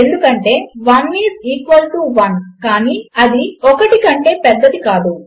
ఎందుకంటే 1 is equal to 1 కాని అది 1 కంటే పెద్దది కాదు